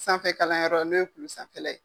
Sanfɛ kalanyɔrɔ n'o ye kulu sanfɛla ye.